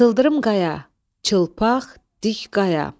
Sıldırım qaya, çılpaq dik qaya.